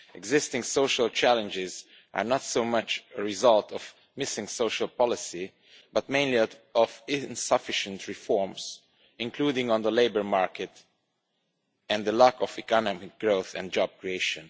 Existing social challenges are not so much a result of missing social policy but mainly of insufficient reforms, including to the labour market, and the lack of economic growth and job creation.